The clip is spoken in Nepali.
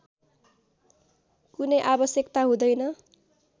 कुनै आवश्यकता हुँदैन